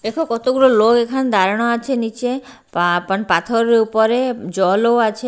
দেখো কত গুলো লোক এখানে দাঁড়ানো আছে নিচে আপন পাথরের উপরে জল ও আছে।